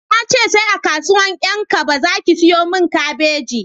Na ce sai a kasuwan 'yan kaba za ki siyomin kabeji